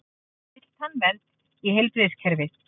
Vill tannvernd í heilbrigðiskerfið